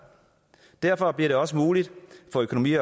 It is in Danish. derfor bliver det også muligt for økonomi